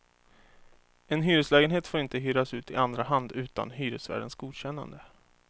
En hyreslägenhet får inte hyras ut i andra hand utan hyresvärdens godkännande.